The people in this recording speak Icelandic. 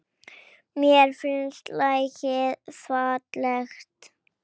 Mér finnst lagið falskt.